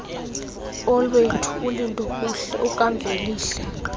olwethu ulindokuhle ukamvelihle